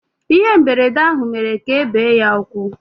Ihe mberede ahụ mere ka ebe ya ụkwụ